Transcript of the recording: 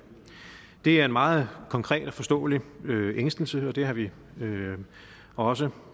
det er en meget konkret og forståelig ængstelse og det har vi også